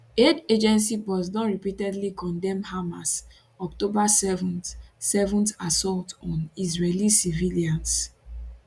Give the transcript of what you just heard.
aid agency boss don repeatedly condemn hamas october 7th 7th assault on israeli civilians